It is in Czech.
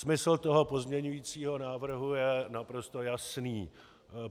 Smysl toho pozměňovacího návrhu je naprosto jasný.